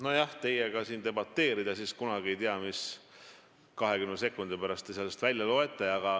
Kui teiega siin debateerida, ega siis kunagi ei tea, mis te sellest 20 sekundi pärast välja loete.